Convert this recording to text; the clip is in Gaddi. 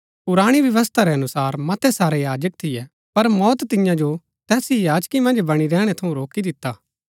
पुराणी व्यवस्था रै अनुसार मतै सारै याजक थियै पर मौत तियां जो तैस ही याजकी मन्ज बणी रैहणै थऊँ रोकी दिता